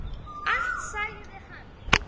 Allt sagði hann.